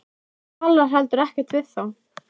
Þú talar heldur ekkert við þá.